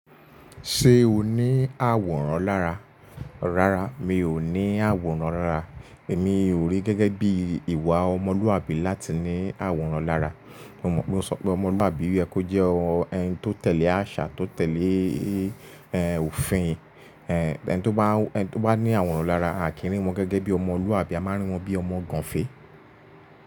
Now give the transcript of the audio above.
Ṣé o ní àwòrán lára? Rárá, mi ò ní àwòrán rárá. Èmi o rí gẹ́gẹ́ bí ìwà ọmọlúàbí láti ní àwòrán lára. Mo mọ̀ pé o so pe ọmọlúàbí o yẹ kó jẹ́ enu tó tẹ̀lé àṣà, tó tẹ̀lé, ẹ́, òfin. Ẹ̀ẹ́, ẹn tó bá ní àwòrán lára, àkínri wọn gẹ́gẹ́ bí ọmọlúàbí, a máa n rí wọn bí ọmọ gànfè.